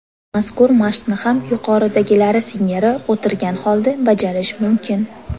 Mazkur mashqni ham yuqoridagilari singari o‘tirgan holda bajarish mumkin.